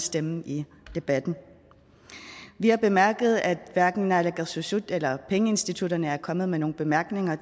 stemme i debatten vi har bemærket at hverken naalakkersuisut eller pengeinstitutterne er kommet med nogen bemærkninger